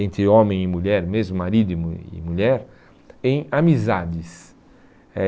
entre homem e mulher, mesmo marido e mu e mulher, em amizades. Eh